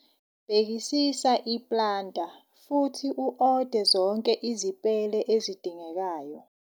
Bhekisisa i-planter futhi u-ode zonke izipele ezidingekayo.